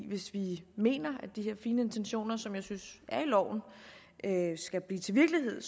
hvis vi mener at de her fine intentioner som jeg synes er i loven skal blive til virkelighed